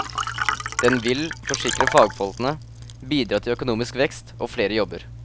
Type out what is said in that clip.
Den vil, forsikrer fagfolkene, bidra til økonomisk vekst og flere jobber.